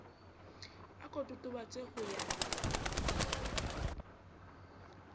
a ko totobatse ho ya